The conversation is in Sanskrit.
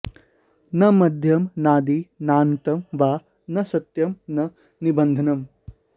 न मध्यं नादि नान्तं वा न सत्यं न निबन्धनम्